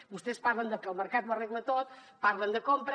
vostès parlen de que el mercat ho arregla tot parlen de compra